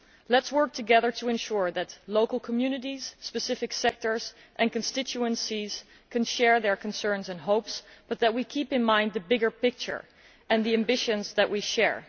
Let us work together to ensure that local communities, specific sectors and constituencies can share their concerns and hopes, but that we also keep in mind the bigger picture and the ambitions that we share.